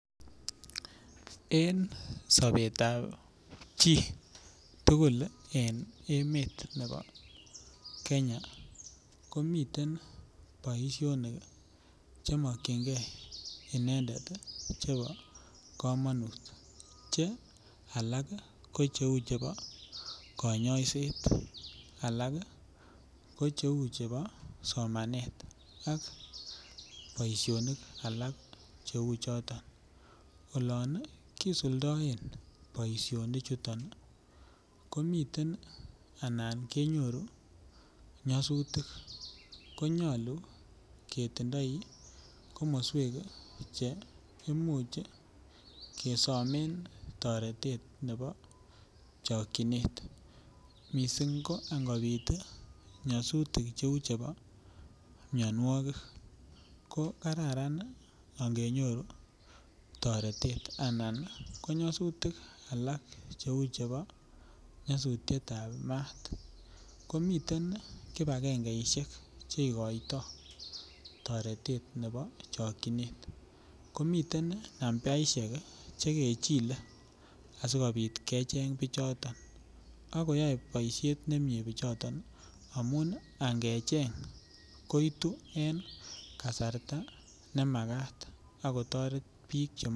En Sabet ab chi tugul en emet Nebo Kenya komiten Baishonik chemakingei inendet ako kamanut Che alak ko chebo kanyaiset alak Kou chebo somanet ak Baishonik alak cheu choton olon kisuldoo Baishonik chiton